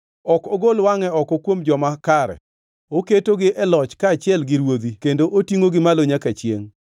Ok ogol wangʼe oko kuom joma kare; oketogi e loch kaachiel gi ruodhi kendo otingʼogi malo nyaka chiengʼ.